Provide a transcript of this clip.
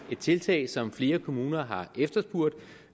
tiltag som flere kommuner har efterspurgt